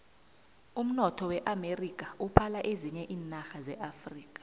umnotho weamerika uphala ezinye iinarha zeafrika